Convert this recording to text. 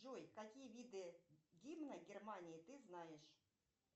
джой какие виды гимна германии ты знаешь